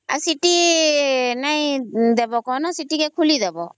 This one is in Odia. ଆଉ ସିଟି ନାଇଁ ଦବ ସିଟି କେ ଖୋଲିଦେବା